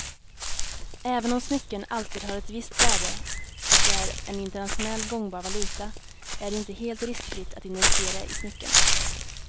Även om smycken alltid har ett visst värde och är en internationellt gångbar valuta är det inte helt riskfritt att investera i smycken.